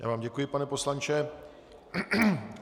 Já vám děkuji, pane poslanče.